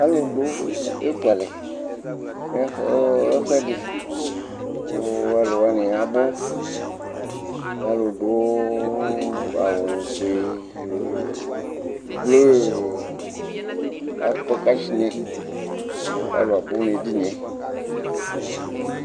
alò do eku alɛ no ɛfu ɛdi kò ɔlò wani abò alò du awu fue blu akpɔ kashnɛ kò alò abò n'ɛdini yɛ